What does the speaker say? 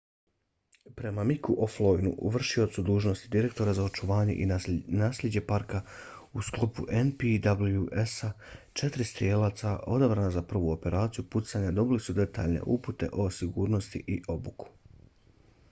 prema micku o'flynnu vršiocu dužnosti direktora za očuvanje i nasljeđe parka u sklopu npws-a četiri strijelaca odabrana za prvu operaciju pucanja dobili su detaljne upute o sigurnosti i obuku